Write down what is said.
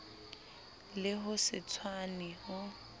le ho se tshwane ho